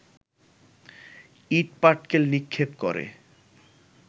ইট-পাটকেল নিক্ষেপ করে